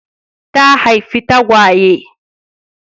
Ta haifi tagwaye.